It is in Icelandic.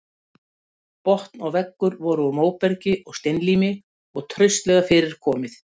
Botn og veggur voru úr móbergi og steinlími og traustlega fyrir komið.